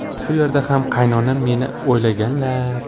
Shu yerda ham qaynonam meni o‘ylaganlar.